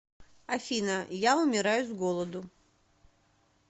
афина я умираю с голоду